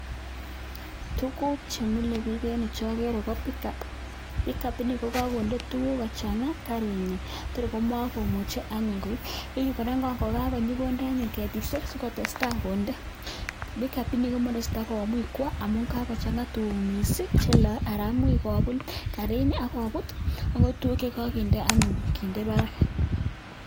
Tuguuk chemile biik eng yu chogere ko pickup, pickup ni kokakonde tuguk kochanga kariinyin tor komakomuchei anyun koip, kora kokakonyi konde anyun ketiisiek sikotestai konde. Pickup ni ko makoraisi kotakwo amun kakochanga tuguk mising cheloe anan much kopuut kariini akobo tuguk anyun chekakinde, kindee barak.